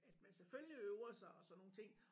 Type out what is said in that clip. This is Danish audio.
At man selvfølgelig øver sig og sådan nogle ting